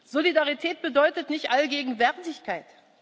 ist. Solidarität bedeutet nicht Allgegenwärtigkeit.